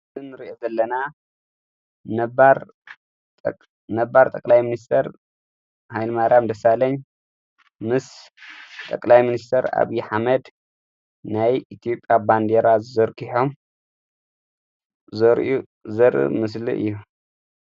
ልን ርኢ ዘለና ነባር ጠላይ ምንስተር ኃይልማራያም ደሣለኛ ምስ ጠቕላይ ምንስተር ኣብዪ ኃመድ ናይ ኢቲዩጴያ ባንዴራ ዝዘርጕሖም ዘርኡ ዘር ምስሊ እዩ::